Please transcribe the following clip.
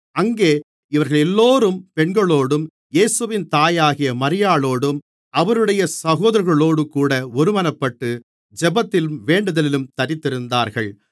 அங்கே இவர்களெல்லோரும் பெண்களோடும் இயேசுவின் தாயாகிய மரியாளோடும் அவருடைய சகோதரர்களோடுகூட ஒருமனப்பட்டு ஜெபத்திலும் வேண்டுதலிலும் தரித்திருந்தார்கள்